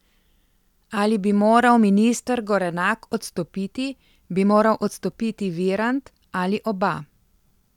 Ali bi moral minister Gorenak odstopiti, bi moral odstopiti Virant ali oba?